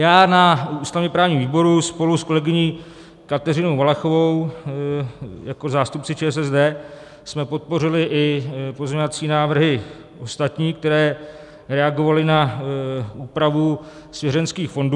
Já na ústavně-právním výboru spolu s kolegyní Kateřinou Valachovou jako zástupci ČSSD jsme podpořili i pozměňovací návrhy ostatní, které reagovaly na úpravu svěřenských fondů.